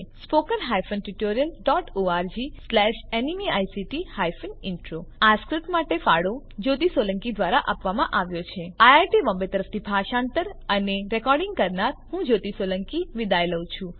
spoken hyphen tutorial dot org slash ન્મેઇક્ટ hyphen intro આ script માટે ફાળો જ્યોતી સોલંકી દ્વારા આપવામાં આવ્યો છે iit બોમ્બે તરફથી સ્પોકન ટ્યુટોરીયલ પ્રોજેક્ટ માટે ભાષાંતર કરનાર હું જ્યોતી સોલંકી વિદાય લઉં છું